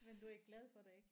Men du er glad for det ik?